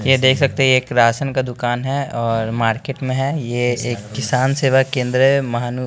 ये देख सकते है एक राशन का दुकान है और मार्केट में है ये एक किसान सेवा केंद्र है महानु--